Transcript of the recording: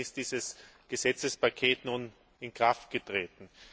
Gestern ist dieses Gesetzespaket nun in Kraft getreten.